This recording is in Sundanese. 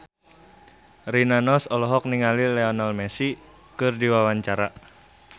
Rina Nose olohok ningali Lionel Messi keur diwawancara